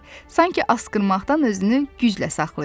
Sanki asqırmaqdan özünü güclə saxlayırdı.